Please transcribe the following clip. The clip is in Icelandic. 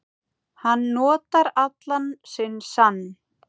Hann notar allan sinn sann